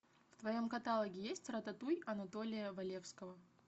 в твоем каталоге есть рататуй анатолия валевского